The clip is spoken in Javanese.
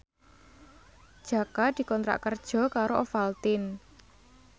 Jaka dikontrak kerja karo Ovaltine